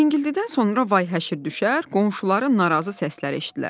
Cingildidən sonra vay-həşir düşər, qonşuların narazı səsləri eşitdilərdi.